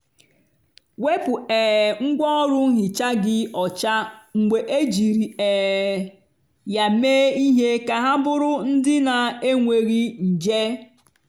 wepu um ngwaọrụ nhicha gị ọcha mgbe ejiri um ya mee ihe ka ha bụrụ ndị na-enweghị nje.